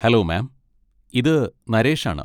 Hello ma'am. ഇത് നരേഷ് ആണ്.